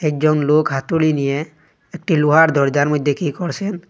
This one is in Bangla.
একজন লোক হাতুড়ি নিয়ে একটি লোহার দরজার মধ্যে কী করসেন।